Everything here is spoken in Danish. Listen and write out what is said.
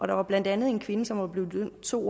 der var blandt andet en kvinde som var blevet idømt to